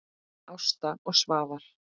Ásta og Svafar.